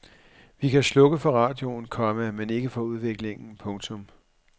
Vi kan slukke for radioen, komma men ikke for udviklingen. punktum